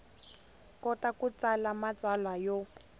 kota ku tsala matsalwa yo